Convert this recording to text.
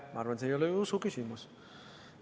Ma arvan, et see ei ole usu küsimus.